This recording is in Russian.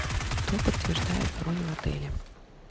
кто подтверждает бронь в отеле